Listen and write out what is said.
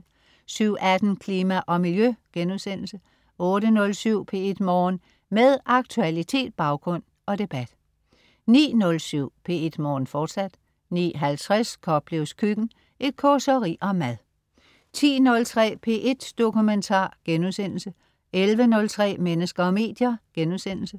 07.18 Klima og Miljø* 08.07 P1 Morgen. Med aktualitet, baggrund og debat 09.07 P1 Morgen, fortsat 09.50 Koplevs Køkken. Et causeri om mad 10.03 P1 Dokumentar* 11.03 Mennesker og medier*